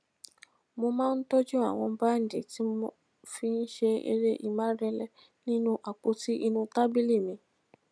mo máa ń tójú àwọn bandi tí mo fi ń ṣe eré ìmárale nínú àpoti inu tabili mi